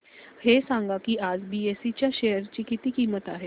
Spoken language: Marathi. हे सांगा की आज बीएसई च्या शेअर ची किंमत किती आहे